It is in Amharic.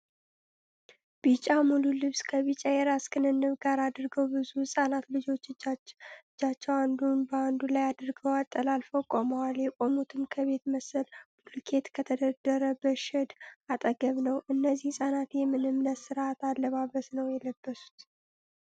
ቢጫ ሙሉ ልብስ ከቢጫ የራስ ክንብንብ ጋር አድርገው ብዙ ህጻናት ልጆች እጃቸው አንዱን በአንዱ ላይ አድርገው አጠላልፈው ቆመዋል። የቆሙትም ከቤት መሰል ብሎኬት ከተደረደረበት ሼድ አጠገብ ነው። እነዚህ ህጻናት የምን እምነት ስርአታዊ አለባበስን ነው የለበሱት?